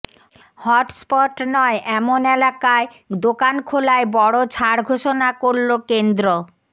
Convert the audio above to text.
hotspot নয় এমন এলাকায় দোকান খোলায় বড়ো ছাড় ঘোষণা করল কেন্দ্র